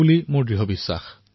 এয়া মোৰ দৃঢ় বিশ্বাস